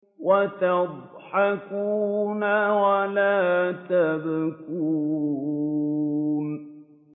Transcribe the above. وَتَضْحَكُونَ وَلَا تَبْكُونَ